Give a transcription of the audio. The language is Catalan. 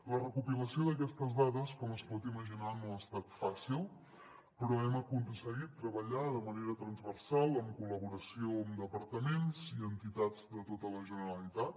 la recopilació d’aquestes dades com es pot imaginar no ha estat fàcil però hem aconseguit treballar de manera transversal en col·laboració amb departaments i entitats de tota la generalitat